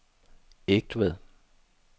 Egtved